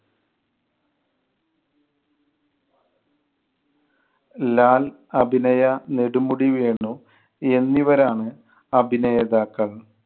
ലാൽ, അഭിനയ, നെടുമുടി വേണു എന്നിവരാണ് അഭിനേതാക്കൾ